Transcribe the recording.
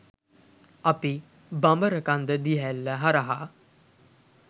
අපි බඹරකන්ද දිය ඇල්ල හරහා